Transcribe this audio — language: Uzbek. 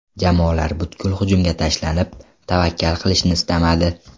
Jamoalar butkul hujumga tashlanib, tavakkal qilishni istamadi.